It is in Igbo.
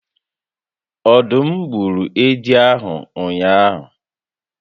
Ọdụm gburu edi a ụnyaahụ?